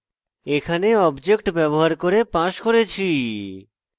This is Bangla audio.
এখানে object ব্যবহার করে passed করেছি